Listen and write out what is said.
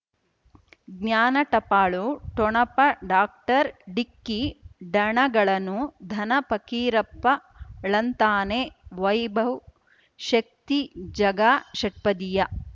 ಜ್ಞಾನ ಟಪಾಲು ಠೊಣಪ ಡಾಕ್ಟರ್ ಢಿಕ್ಕಿ ಡನಗಳನು ಧನ ಪಕೀರಪ್ಪ ಳಂತಾನೆ ವೈಭವ್ ಶಕ್ತಿ ಝಗಾ ಷಟ್ಪದಿಯ